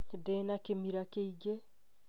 Ndĩ na kimira kiingĩ